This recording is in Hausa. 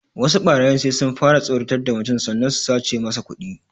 Wasu ɓarayin sai sun fara tsoratar da mutum sannan su sace masa kuɗi